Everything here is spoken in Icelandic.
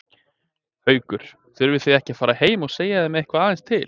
Haukur: Þurfið þið ekki að fara heim og segja þeim eitthvað aðeins til?